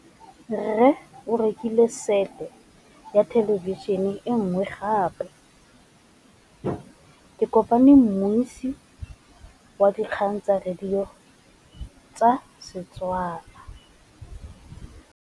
Rre o rekile sete ya thêlêbišênê e nngwe gape. Ke kopane mmuisi w dikgang tsa radio tsa Setswana.